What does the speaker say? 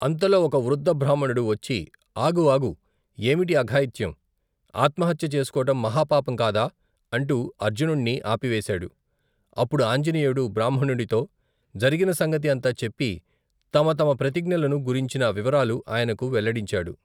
అంతలో ఒక వృద్దబ్రాహ్మణుడు వచ్చి ఆగు ఆగు ఏమిటి అఘాయిత్యం ఆత్మహత్య చేసుకోవటం మహా పాపం కాదా అంటూ అర్జునుణ్ణి ఆపివేశాడు అప్పుడు ఆంజనేయుడు బ్రాహ్మణుడితో జరిగిన సంగతి అంతా చెప్పి తమ తమ ప్రతిఙ్ఞలను గురించిన వివరాలు ఆయనకు వెల్లడించాడు.